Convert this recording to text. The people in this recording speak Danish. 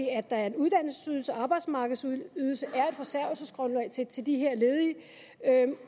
at der er en uddannelsesydelse en arbejdsmarkedsydelse at er et forsørgelsesgrundlag til til de her ledige